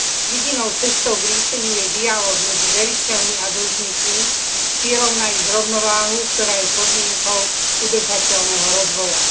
Jedinou cestou k riešeniu je dialóg medzi veriteľmi a dlžníkmi s cieľom nájsť rovnováhu, ktorá je podmienkou udržateľného rozvoja.